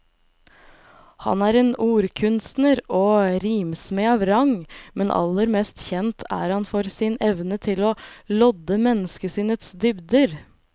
Han er en ordkunstner og rimsmed av rang, men aller mest kjent er han for sin evne til å lodde menneskesinnets dybder.